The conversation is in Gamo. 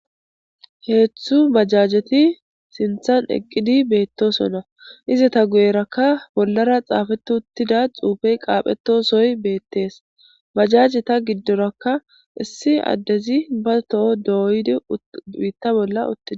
hezhzhu bajajeti sinthan eqqidi beettosona iza ta guyerakka bollara xaafeti uttida xuufey qaaphetosoy beettees bajajeta giddorakka issi addezi ba toho dooydi biitta bolla uttides